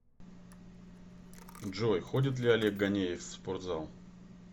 джой ходит ли олег ганеев в спортзал